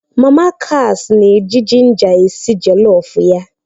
Mama kas na-eji jinja esi jolofu ya